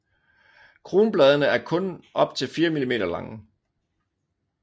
Kronbladene er kun op til 4 mm lange